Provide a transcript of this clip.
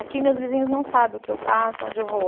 Aqui, meus vizinhos não sabem o que eu faço, onde eu vou.